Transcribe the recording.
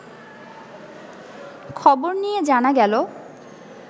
খবর নিয়ে জানা গেল